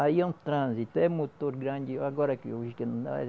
Aí é um trânsito, é motor grande. Agora que